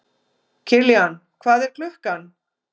Kiljan, hvað er klukkan?